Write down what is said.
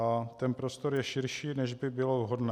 A ten prostor je širší, než by bylo vhodné.